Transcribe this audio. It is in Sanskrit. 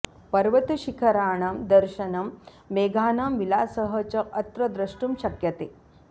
पर्वतशिखराणां दर्शनं मेघानां विलासः च अत्र द्रष्टुं शक्यते